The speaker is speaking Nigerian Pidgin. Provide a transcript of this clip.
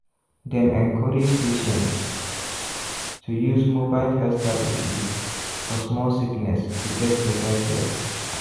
dem encourage patients to use mobile health services for small sickness to get better care.